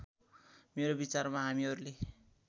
मेरो विचारमा हामीहरूले